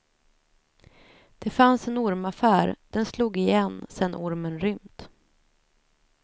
Det fanns en ormaffär, den slog igen sedan ormen rymt.